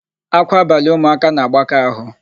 Ákwá abalị ụmụaka na-agbaka áhụ̀.